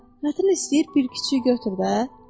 Hə, tətin istəyir, bir kiçiyi götür də.